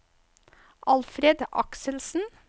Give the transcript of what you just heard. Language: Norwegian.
Alfred Akselsen